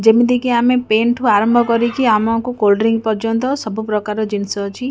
ଯେମିତି କି ଆମେ ପେନ୍ ଠୁ ଆରମ୍ଭ କରିକି ଆମକୁ କୋଲ୍ଡ ଡ୍ରିଙ୍କ୍ ପର୍ଯ୍ୟନ୍ତ ସବୁ ପ୍ରକାର ଜିନିଷ ଅଛି।